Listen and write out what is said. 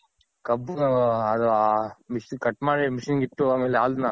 ಕಬ್ಬು ಅದು cut ಮಾಡಿ machine ಗಿಟ್ಟು ಆಮೇಲ್ ಹಾಲ್ನ